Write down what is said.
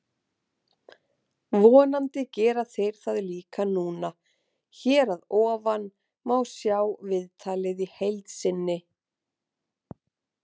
Vonandi gera þeir það líka núna. Hér að ofan má sjá viðtalið í heild sinni.